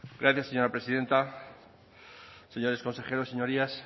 gracias señora presidenta señores consejeros señorías